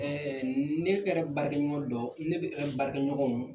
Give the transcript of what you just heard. ne kɛrɛ baarakɛ ɲɔgɔn dɔ ne bɛ baarakɛ ɲɔgɔnw.